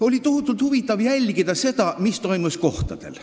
Oli tohutult huvitav jälgida seda, mis toimus kohapeal.